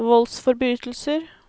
voldsforbrytelser